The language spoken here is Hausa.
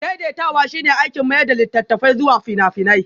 Daidaitawa shine aikin mayar da littattafai zuwa fina-finai